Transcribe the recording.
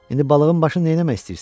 İndi balığın başını neynəmək istəyirsən?